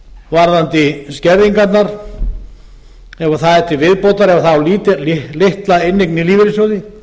varðandi skerðingarnar ef það er til viðbótar ef það á litla inneign í lífeyrissjóði